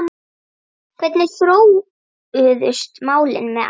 Hvernig þróuðust málin með Aron?